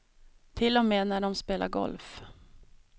Till och med när de spelar golf.